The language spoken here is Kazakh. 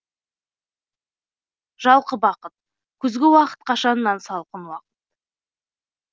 жалқы бақыт күзгі уақыт қашаннан салқын уақыт